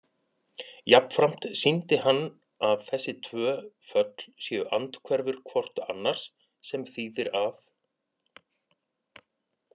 Jafnframt sýndi hann að þessi tvö föll séu andhverfur hvort annars, sem þýðir að